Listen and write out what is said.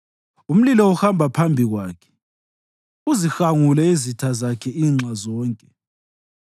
Umlilo uhamba phambi Kwakhe uzihangule izitha zakhe inxa zonke.